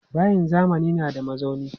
Bayin zamani na da mazauni.